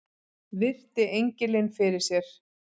Virti engilinn fyrir sér.